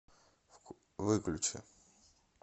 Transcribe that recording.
выключи